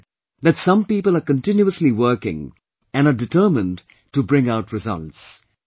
I have seen that some people are continuously working and are determined to bring out results